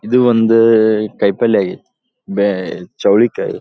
ಇದು ಒಂದು ಕಾಯ್ಪಲ್ಲೆ ಬೆ ಚೌಳಿಕಾಯಿ.